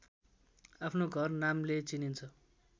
आफ्नो घर नामले चिनिन्छ